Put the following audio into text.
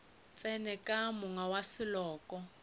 tsene ka monga wa seloko